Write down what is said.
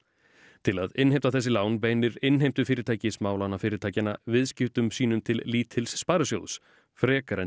til að innheimta þessi lán beinir innheimtufyrirtæki smálánafyrirtækjanna viðskiptum sínum til lítils Sparisjóðs frekar en